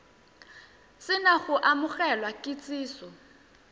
se na go amogela kitsiso